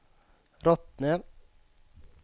Rottne